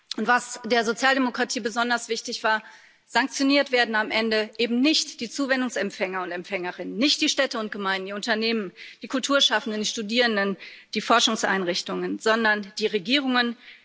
Und was der Sozialdemokratie besonders wichtig war Sanktioniert werden am Ende eben nicht die Zuwendungsempfänger und —empfängerinnen, nicht die Städte und Gemeinden, die Unternehmen, die Kulturschaffenden, die Studierenden, die Forschungseinrichtungen, sondern die Regierungen.